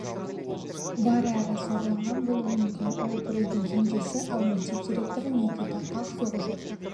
бар әрі зорланған болуы мүмкін ол бір үйдің кенжесі ал мектеп директоры никита қақ-соғы жоқ